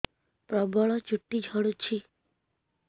ପ୍ରବଳ ଚୁଟି ଝଡୁଛି